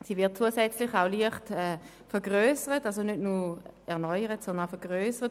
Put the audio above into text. Sie wird zusätzlich nicht nur erneuert, sondern auch leicht vergrössert.